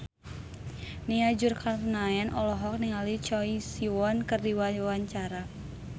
Nia Zulkarnaen olohok ningali Choi Siwon keur diwawancara